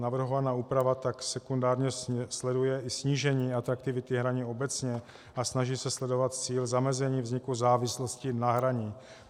Navrhovaná úprava tak sekundárně sleduje i snížení atraktivity hraní obecně a snaží se sledovat cíl zamezení vzniku závislosti na hraní.